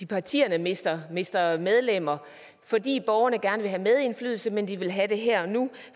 partierne mister mister medlemmer fordi borgerne gerne vil have medindflydelse men vil have det her og nu